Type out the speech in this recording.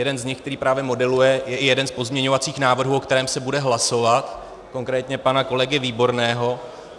Jeden z nich, který právě modeluje, je jeden z pozměňovacích návrhů, o kterém se bude hlasovat, konkrétně pana kolegy Výborného.